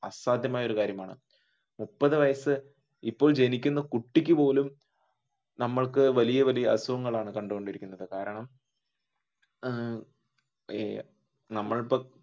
അസാധ്യമായ ഒരു കാര്യമാണ്. മുപ്പതു വയസ് ഇപ്പോൾ ജനിക്കുന്ന കുട്ടിക്കുപോലും നമ്മൾക്ക് വലിയ വലിയ അസുഖങ്ങളാണ് കണ്ടോണ്ടിരിക്കുന്നതു കാരണം ഏർ അഹ് നമ്മൾ ഇപ്പോ